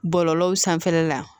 Bɔlɔlɔw sanfɛla la